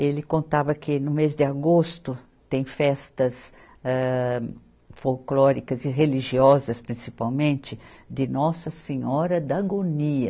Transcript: Ele contava que no mês de agosto tem festas, âh, folclóricas e religiosas, principalmente, de Nossa Senhora da Agonia.